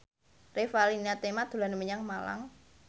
Revalina Temat dolan menyang Malang